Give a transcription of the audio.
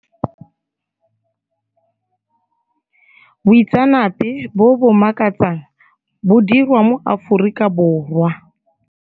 Boitseanape bo ob makatsang bo dirwa mo Aforika Borwa.